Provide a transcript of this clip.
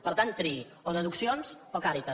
per tant triï o deduccions o càritas